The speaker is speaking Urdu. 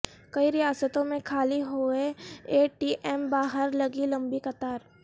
کئی ریاستوں میں خالی ہوئے اے ٹی ایم باہر لگی لمبی قطار